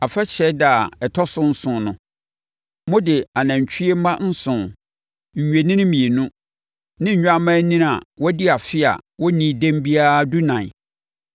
“ ‘Afahyɛ ɛda a ɛtɔ so nson no, mode anantwie mma nson, nnwennini mmienu ne nnwammaanini a wɔadi afe a wɔnnii dɛm biara dunan